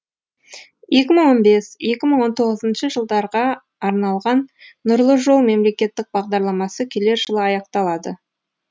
екі мың он бес екі мың он жетінші жылдарға арналған нұрлы жол мемлекеттік бағдарламасы келер жылы аяқталады